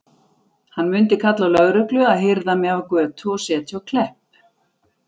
Hann mundi kalla á lögreglu að hirða mig af götu og setja á Klepp.